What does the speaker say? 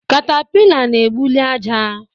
Katapila na egbuli aja